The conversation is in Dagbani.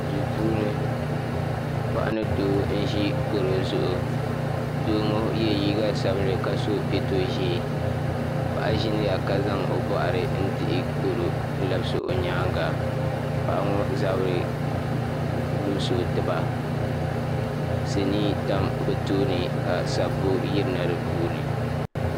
Duu puuni paɣa ni doo n-ʒi garo zuɣu doo ŋɔ ye liiga sabinli ka so peto ʒee paɣa ʒiniya ka zaŋ o nuhi dihi garo labisi o nyaaŋa paɣa ŋɔ zabiri limsi o tiba sinii tam bɛ tooni ka sabbu yirina di puuni.